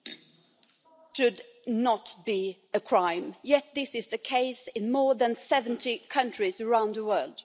Mr President should not be a crime. Yet this is the case in more than 70 countries around the world.